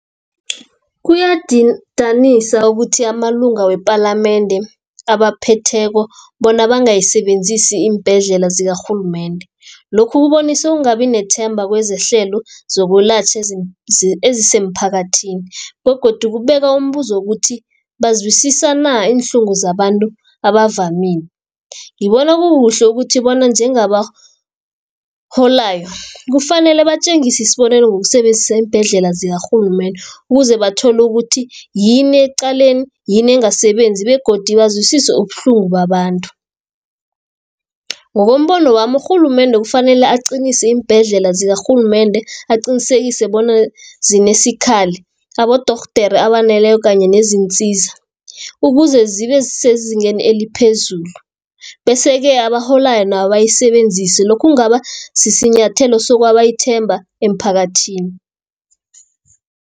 Kuyadidanisa ukuthi amalunga wepalamende abaphetheko bona bangayisebenzisi iimbhedlela zikarhulumende. Lokhu kubonisa ukungabi nethemba kwezehlelo zokwelatjhwa ezisemphakathini, begodu kubeka umbuzo ukuthi bazwisisana iinhlungu zabantu abavamile. Ngibona kukuhle ukuthi bona njengabaholayo kufanele batjengisi isibonelo ngokusebenzisa iimbhedlela zikarhulumende, ukuze bathole ukuthi yini ekuqaleni yini engasebenzi, begodu bazwisise ubuhlungu babantu. Ngokombono wami urhulumende kufanele aqinise iimbhedlela zikarhulumende aqinisekise bona zinesikhali abodorhodere abaneleko, kanye nezinsiza, ukuze zibe sezingeni eliphezulu, bese-ke abaholayo nabo bayisebenzise. Lokhu kungaba sinyathelo sokwaba ithemba emphakathini.